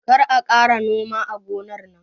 Kar a ƙara noma a gonar nan